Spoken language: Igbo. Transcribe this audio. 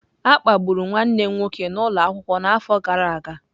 A kpagburu nwanne m nwoke n'ụlọ akwụkwọ n'afọ gara aga.